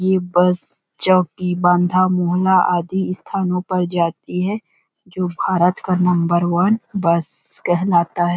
ये बस चौकी बांधा मोहला आदि स्थानों पर जाती है जो भारत का नंबर वन बस कहलाता है।